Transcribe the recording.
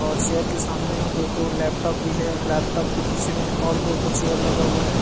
और चेयर के सामने में दो ठो लैपटॉप भी है और लैपटॉप के पीछे में और दो ठो चेयर लगा हुआ है।